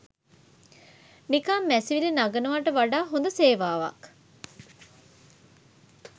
නිකන් මැසිවිලි නගනවාට වඩා හොද සේවාවක්